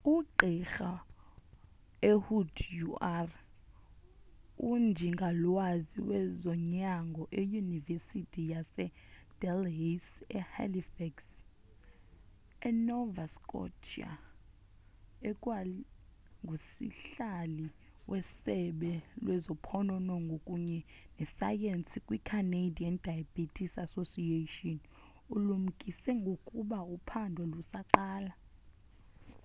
ugqirha ehud ur unjingalwazi wezonyango eyunivesithi yasee-dalhousie e-halifax e-nova scotia ekwangusihlali wesebe lezophononongo kunye nesayensi kwi-canadian diabetes association ulumkise ngokuba uphando lusaqala